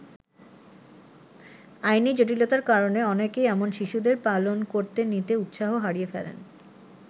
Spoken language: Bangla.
আইনি জটিলতার কারণে অনেকেই এমন শিশুদের পালন করতে নিতে উৎসাহ হারিয়ে ফেলেন।